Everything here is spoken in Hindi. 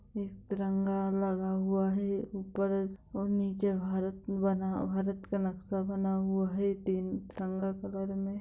एक तिरंगा लगा हुआ है ऊपर और नीचे भारत बना भारत का नक्शा बना हुआ है तीन रंगा कलर में।